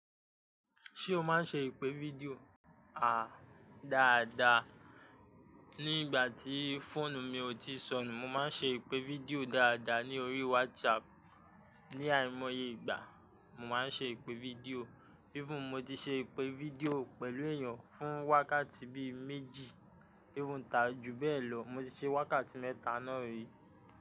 Ṣé o máa ń ṣe ìpè fídíò? Dáadáa. Nígbà tí fóònù mi ò tíì sọnù, mo máa ń ṣe ìpè fídíò dáadáa ní orí WhatsApp. Ni àìmoye ìgbà, mo máa ń ṣe ìpè fídíò. Even mo ti ṣe ìpè fídíò pẹ̀lú èèyàn fún wákàtí bí méjì. Even ta ju bẹ́ẹ̀ lọ, mo ti ṣe wákàtí mẹ́ta náà rí.